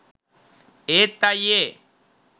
ඒත් අයියේ